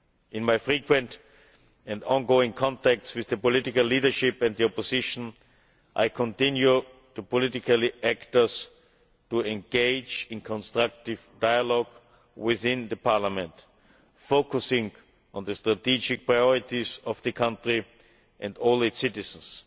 In my frequent and on-going contacts with the political leadership and the opposition, I continue to urge political actors to engage in constructive dialogue within the parliament, focusing on the strategic priorities of the country and all its citizens.